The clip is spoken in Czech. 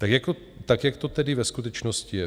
Tak jak to tedy ve skutečnosti je?